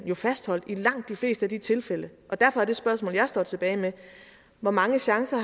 jo fastholdt i langt de fleste af de tilfælde og derfor er det spørgsmål jeg står tilbage med hvor mange chancer